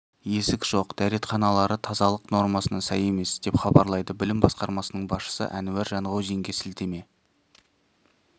есік жоқ дәретханалары тазалық нормасына сай емес деп хабарлайды білім басқармасының басшысы әнуар жанғозинге сілтеме